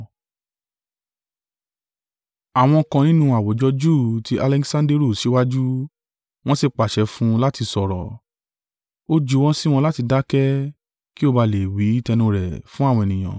Àwọn kan nínú àwùjọ Júù ti Aleksanderu síwájú, wọn si pàṣẹ fun láti sọ̀rọ̀. Ó juwọ́ sí wọn láti dákẹ́ kí ó ba lè wí tẹnu rẹ̀ fun àwọn ènìyàn.